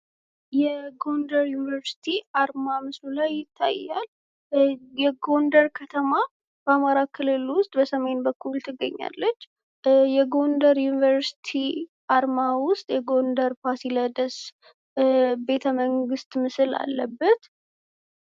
የጎንደር ዩንቨርስቲ አርማ ምስሉ ላይ ይታያል። የጎንደር ከተማ በአማራ ክልል ውስጥ በሰሜን በኩል ትገኛለች። በጎንደር ዩኒቨርሲቲ አርማ ውስጥ የጎንደር ፋሲለደስ ቤተ መንግስት ምስል አለበት።